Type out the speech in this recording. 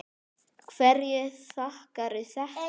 Hverju þakkarðu þetta?